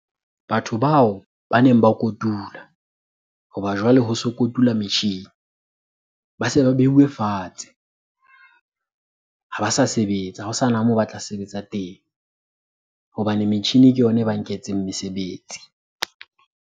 Batho bao ba neng ba kotula hoba jwale ho so kotula metjhini. Ba se ba beuwe fatshe, ha ba sa sebetsa. Ha ho sana moo ba tla sebetsa teng. Hobane metjhini ke yona e ba nketseng mesebetsi.